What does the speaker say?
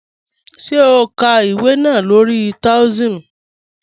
Ṣé ó n ká ìwé náà lórí Taoism?